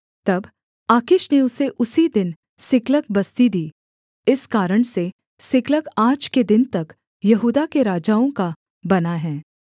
तब आकीश ने उसे उसी दिन सिकलग बस्ती दी इस कारण से सिकलग आज के दिन तक यहूदा के राजाओं का बना है